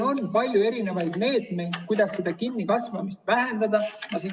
On palju meetmeid, kuidas seda kinnikasvamist vähendada.